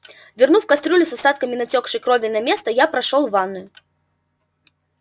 вернув кастрюлю с остатками натёкшей крови на место я прошёл в ванную